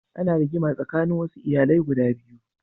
Ana rigima tsanin wasu iyalai guda biyu.